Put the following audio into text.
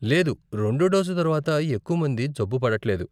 లేదు, రెండో డోసు తర్వాత ఎక్కువ మంది జబ్బు పడట్లేదు.